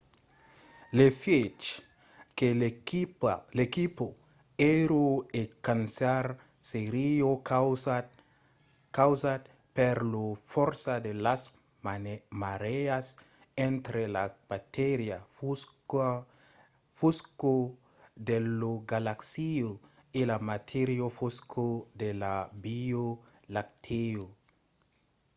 l'efièch que l'equipa èra a cercar seriá causat per la fòrça de las marèas entre la matèria fosca de la galaxia e la matèria fosca de la via lactèa